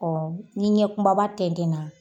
Ɔn ni ɲɛ kumaba tɛntɛn na